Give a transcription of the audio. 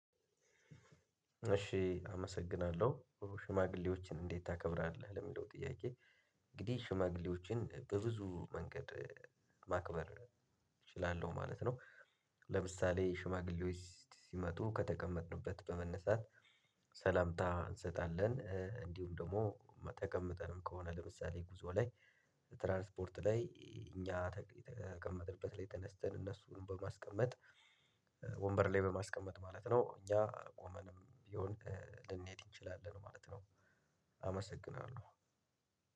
እሺ አመሰግናለሁ። ሽማግሌዎችን እንዴት ታከብራለህ? ለሚለው ጥያቄ እንግዲህ ሽማግሌዎችን በብዙ መንገድ ማክበር እችላለሁ ማለት ነው። ለምሳሌ ሽማግሌዎች ሲመጡ ከተቀመጥንበት በመነሳት ሰላምታ እንሰጣለን። እንዲሁም ደግሞ ተቀምጠንም ከሆነ ለምሳሌ ጉዞ ላይ 'ትራንስፖርት' ላይ እኛ ከተቀመጥንበት ላይ ተነስተን እነሱን በማስቀመጥ ወንበር ላይ በማስቀመጥ ማለት ነው። እኛ ቆመንም ቢሆን ልንሄድ እንችላለን ማለት ነው። አመሰግናለሁ!